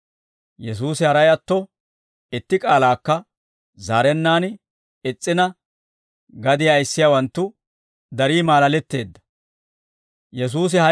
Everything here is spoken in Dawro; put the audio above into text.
Yesuusi haray atto, itti k'aalaakka zaarennaan is's'ina, gadiyaa ayissiyaawanttu darii maalaletteedda.